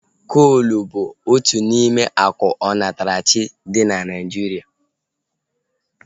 Koolu bụ otu n'ime akụ onatarachi dị na Naijiria